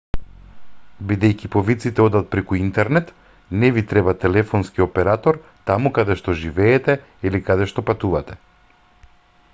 бидејќи повиците одат преку интернет не ви треба телефонски оператор таму каде што живеете или каде што патувате